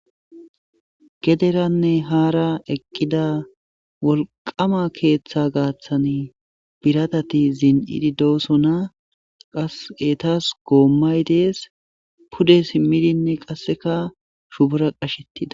Gederanne haara eqqida wolqama keeththa gaaththan biradati zinididooson qas etas goommay dees pude simmidinne qasseka shubora qashettida.